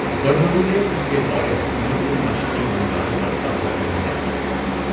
ورمنوں نے اس کے دور حکومت میں مشرقی بنگال پر قبضہ کر لیا۔